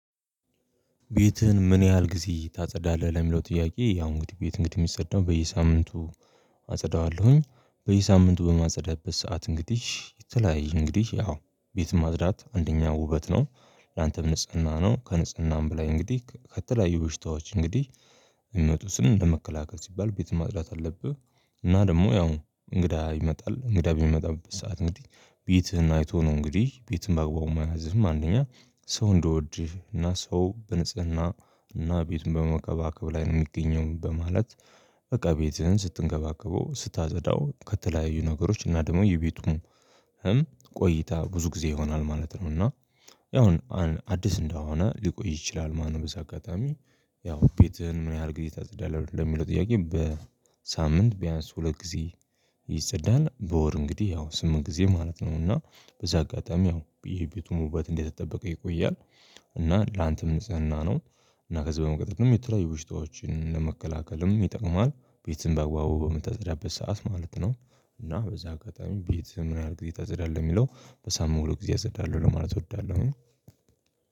ቤትህን ምን ያህል ጊዜ ታጸዳለህ ለሚለው ጥያቄ? ያው እንግዲህ ቤት እንግዲህ ሚጸዳው በየሳምንቱ አጸዳዋለሁኝ በየሳምንቱ በማጸዳበት ሰዓት እንግዲህ የተለያየ እንግዲህ ያው ቤት ማጽዳት አንደኛ ውበት ነው ላንተም ንጽህና ነው ከንጽህናም በላይ እንግዲህ ከተለያዩ በሽታዎች እንግዲህ የሚወጡትንም ለመከላከል ሲባል ቤት ማጽዳት አለብህ። እና ደግሞ ያው እንግዳ ይመጣል እንግዳ በሚመጣበት ሰዓት እንግዲህ ቤትህን አይቶ ነው እንግዲህ ቤትህን ባግባቡ መያዝህም አንደኛ ሰው እንዲወድህ እና ሰው በንጽህና እና ቤቱን በመከባከብ ላይ ነው የሚገኘው በማለት በቃ ቤትህን ስትንከባከበው ስታጸዳው ከተለያዩ ነገሮች እና ደግሞ የቤቱም ቆይታ ብዙ ጊዜ ይሆናል ማለት ነው። እና ያው አዲስ እንደሆነ ሊቆይ ይችላል ማለት ነው። በዚህ አጋጣሚ ያው ቤትህን ምን ያህል ጊዜ ታጸዳለህ ለሚለው ጥያቄ? በሳምንት ቢያንስ ሁለት ጊዜ ይጸዳል በወር እንግዲህ ያው ስምንት ጊዜ ማለት ነው። እና በዚህ አጋጣሚ ያው የቤቱም ውበት እንደተጠበቀ ይቆያል። እና ላንተም ንጽህና ነው እና ከዚህ በመቀጠልም የተለያዩ በሽታዎችን ለመከላከልም ይጠቅመዋል። ቤትህን በአግባቡ በምታጸዳበት ሰዓት ማለት ነው። እና በዚህ አጋጣሚ ቤት በምን ያህል ጊዜ ታጸዳለህ የሚለው? በሳምንቱ ሁለት ጊዜ አጸዳለሁ ለማለት እወዳለሁኝ።